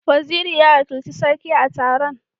Waziri ya wakilci Sarki a taron.